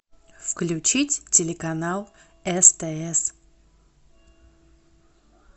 включить телеканал стс